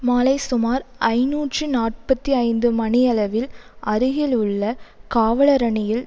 மாலை சுமார் ஐநூற்று நாற்பத்தி ஐந்து மணியளவில் அருகில் உள்ள காவலரணியில்